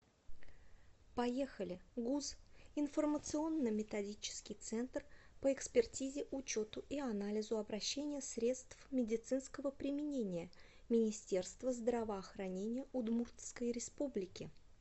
поехали гуз информационно методический центр по экспертизе учету и анализу обращения средств медицинского применения министерства здравоохранения удмуртской республики